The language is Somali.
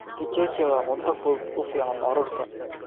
Kicheche waa cunto fudud u fiican carruurta.